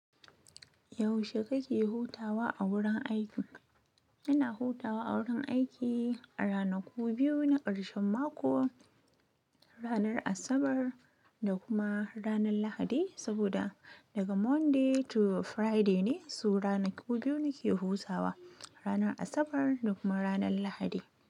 Yaushe kake hutawa a wurin aiki? Ina hutawa a wurin aiki a ranaku biyu na ƙarshen mako, ranar Asabar da kuma ranar Lahadi. Saboda daga Monday to Friday ne, so ranaku biyu nake hutawa, ranar Asabar da kuma ranar Lahadi.